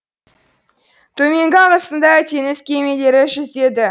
төменгі ағысында теңіз кемелері жүзеді